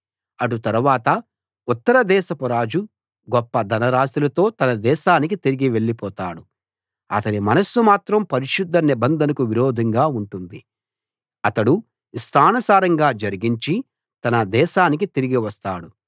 అటు తరువాత ఉత్తర దేశపు రాజు గొప్ప ధనరాసులతో తన దేశానికి తిరిగి వెళ్ళిపోతాడు అతని మనస్సు మాత్రం పరిశుద్ధ నిబంధనకు విరోధంగా ఉంటుంది అతడు ఇష్టానుసారంగా జరిగించి తన దేశానికి తిరిగి వస్తాడు